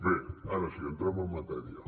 bé ara sí entrem en matèria